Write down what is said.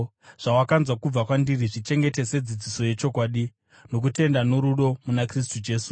Zvawakanzwa kubva kwandiri, zvichengete sedzidziso yechokwadi, nokutenda norudo muna Kristu Jesu.